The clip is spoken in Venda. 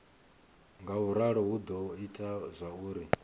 ngauralo hu do ita zwauri